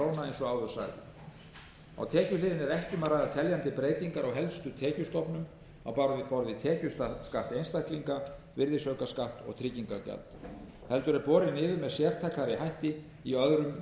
króna eins og áður sagði á tekjuhliðinni er ekki um að ræða teljandi breytingar á helstu tekjustofnum á borð við tekjuskatt einstaklinga virðisaukaskatt og tryggingagjald heldur er borið niður með sértækari hætti í öðrum minni